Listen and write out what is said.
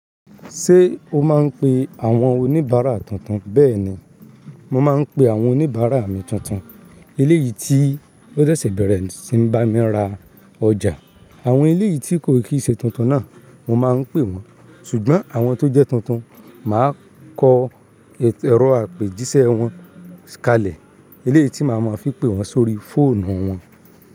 Ṣé o máa ń pe àwọn oníbàárà tuntun? Bẹ́ẹ̀ni, mo máa ń pe àwọn oníbàárà mi tuntun. Eléyìí tí ó ṣẹ̀ṣẹ̀ bẹ̀rẹ̀ sí ń bá mi ra ọjà, àwọn eléyìí tí kò kìí ṣe tuntun náà mo máa ń pè wọ́n. Ṣùgbọ́n àwọn tó jẹ́ tuntun, màá kọ ẹ̀rọ àpèjísẹ́ wọn kalẹ̀. Eléyìí tí màá máa fi pe wọ́n sórí fóònù wọn.